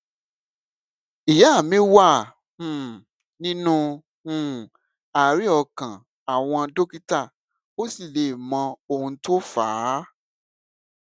ìyá mi wà um nínú um àárè ọkàn àwọn dókítà ò sì lè mọ ohun tó fà á